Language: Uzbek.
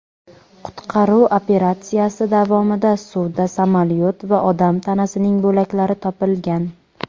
Qutqaruv operatsiyasi davomida suvda samolyot va odam tanasining bo‘laklari topilgan.